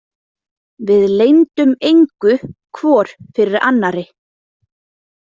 Við leyndum engu hvor fyrir annarri.